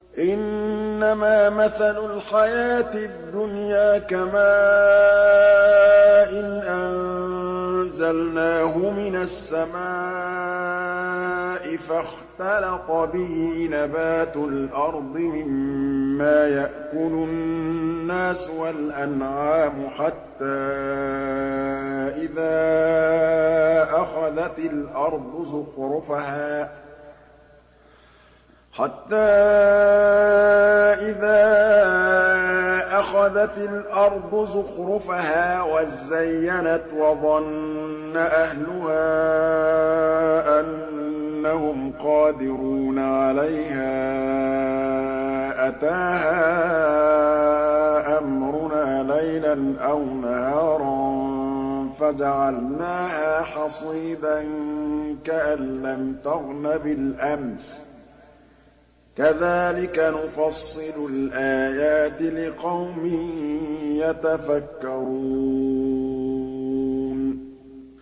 إِنَّمَا مَثَلُ الْحَيَاةِ الدُّنْيَا كَمَاءٍ أَنزَلْنَاهُ مِنَ السَّمَاءِ فَاخْتَلَطَ بِهِ نَبَاتُ الْأَرْضِ مِمَّا يَأْكُلُ النَّاسُ وَالْأَنْعَامُ حَتَّىٰ إِذَا أَخَذَتِ الْأَرْضُ زُخْرُفَهَا وَازَّيَّنَتْ وَظَنَّ أَهْلُهَا أَنَّهُمْ قَادِرُونَ عَلَيْهَا أَتَاهَا أَمْرُنَا لَيْلًا أَوْ نَهَارًا فَجَعَلْنَاهَا حَصِيدًا كَأَن لَّمْ تَغْنَ بِالْأَمْسِ ۚ كَذَٰلِكَ نُفَصِّلُ الْآيَاتِ لِقَوْمٍ يَتَفَكَّرُونَ